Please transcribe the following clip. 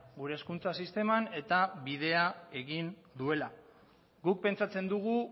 gure hezkuntza sisteman eta bidea egin duela guk pentsatzen dugu